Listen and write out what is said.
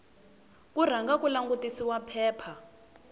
ku rhanga ku langutisiwa phepha